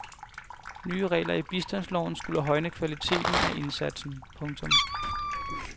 Nye regler i bistandsloven skulle højne kvaliteten af indsatsen. punktum